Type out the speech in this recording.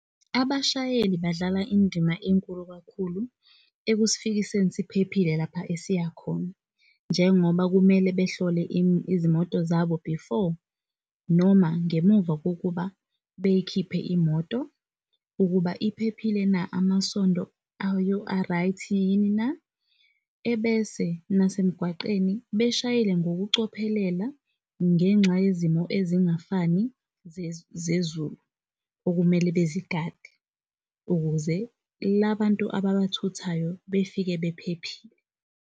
Abashayeli badlala indima enkulu kakhulu ekusifikiseni siphephile lapha esiya khona njengoba kumele behlole izimoto zabo before, noma ngemuva kokuba beyikhiphe imoto, ukuba iphephile na? amasondo ayo, a-right yini na? Ebese nase mgwaqeni beshayele ngokucophelela ngenxa yezimo ezingafani zezulu. Okumele bezigade ukuze labantu ababathuthayo befike bephephile.